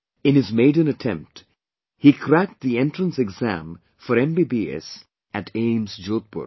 In his maiden attempt, he cracked the Entrance exam for MBBS at AIIMS, Jodhpur